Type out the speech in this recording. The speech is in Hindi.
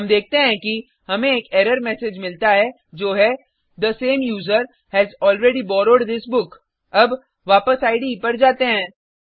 हम देखते हैं कि हमें एक एरर मैसेज मिलता है जो है the same user has already borrowed this book अब वापस इडे पर जाते हैं